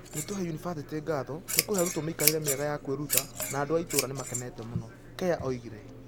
“ Nĩtũcokeria yunibathĩtĩ ngatho nĩ kũhe arutwo mĩikarĩre mĩega ya kwĩruta, na andũ a itũũra nĩ makenete mũno", Keah oigire.